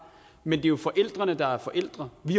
men det er jo forældrene der er forældre vi